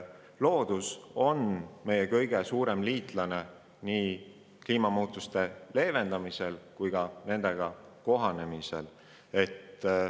Loodus on meie kõige suurem liitlane nii kliimamuutuste leevendamisel kui ka nendega kohanemisel.